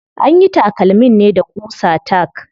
Anyi takalmin ne da ƙusa tack.